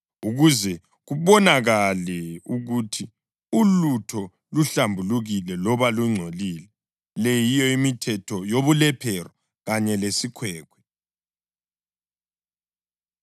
ukuze kubonakale ukuthi ulutho luhlambulukile loba lungcolile. Le yiyo imithetho yobulephero kanye lesikhwekhwe.